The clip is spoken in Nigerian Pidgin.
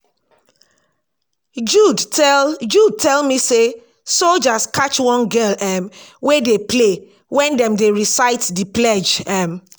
jude tell jude tell me say soldiers catch one girl um wey dey play wen dem dey recite the pledge um